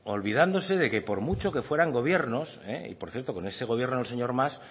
olvidándose de que por mucho que fuera gobiernos y por cierto con ese gobierno del señor mas